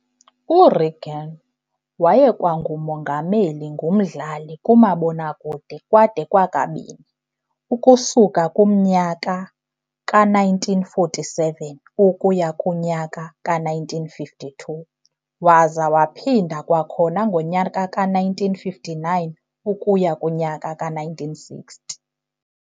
U-Reagan wayekwangumongameli ngumdlali kumabonakude kwade kwakabini, ukusuka kumnyaka ka-1947 ukuya kunyaka ka-1952 waza waphinda kwakhona ngomnyaka ka-1959 ukuya kunyaka ka-1960.